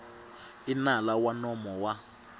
i nala wa nomo wa